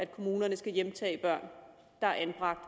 kommunerne skal hjemtage børn der er anbragt